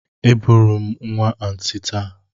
Eburu m nwa Aunty taa.